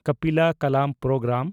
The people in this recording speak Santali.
ᱠᱟᱯᱤᱞᱟ ᱠᱟᱞᱟᱢ ᱯᱨᱳᱜᱽᱜᱨᱟᱢ